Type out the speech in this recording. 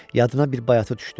Yadına bir bayatı düşdü.